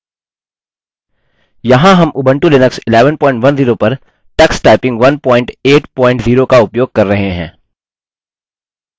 यहाँ हम Ubuntu Linux 1110 पर tux typing 180 का उपयोग कर रहे हैं